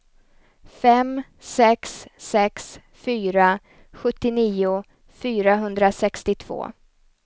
fem sex sex fyra sjuttionio fyrahundrasextiotvå